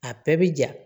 A bɛɛ bi ja